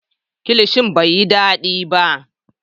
Kilishin bai yi dadi ba